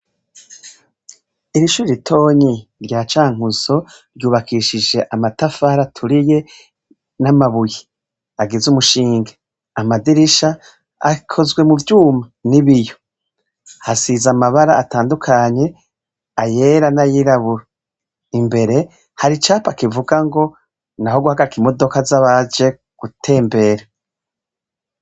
Iri shure ritonyi rya Cankuzo ryubakishije amatafari aturiye n'amabuye agize umushinge. Amadirisha akozwe mu vyuma n'ibiyo. Hasize amabara atandukanye, ayera n'ayirabura. Imbere, hari icapa kivuga ngo " naho guhagarika imodoka z'abaje gutembera."